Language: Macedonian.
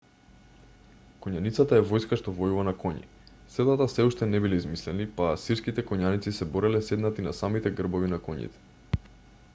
коњаницата е војска што војува на коњи. седлата сѐ уште не биле измислени па асирските коњаници се бореле седнати на самите грбови на коњите